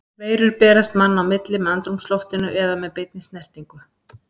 Veirur berast manna á milli með andrúmsloftinu eða með beinni snertingu.